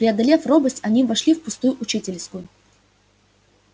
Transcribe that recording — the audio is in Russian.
преодолев робость они вошли в пустую учительскую